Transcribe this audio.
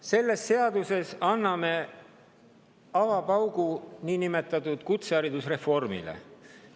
Selles seaduses anname avapaugu niinimetatud kutseharidusreformile.